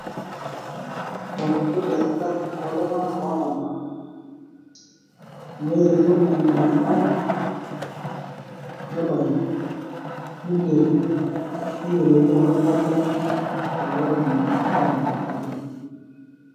Ore Amu keigerr ing'arr iltung'anak oo tabaa looyetuo aing'oru ebaare neigeri neyiolouni ajo kaja lelo Tung'anak oo tabaaki.